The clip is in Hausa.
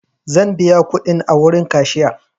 Zan biya kuɗin a wurin kashiya.